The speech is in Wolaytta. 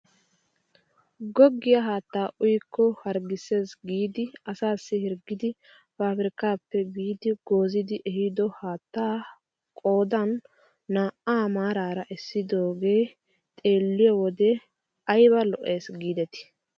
Goggiyaa haattaa uyikko harggises giidi asassi hirggidi pabirkkaappe biidi goozzidi ehiido haattaa qoodan naa"aa maarara essidoogee xeelliyoo wode ayba lo"es gidetii!